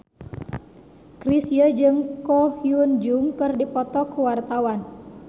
Chrisye jeung Ko Hyun Jung keur dipoto ku wartawan